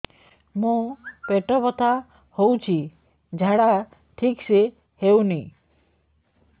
ମୋ ପେଟ ବଥା ହୋଉଛି ଝାଡା ଠିକ ସେ ହେଉନି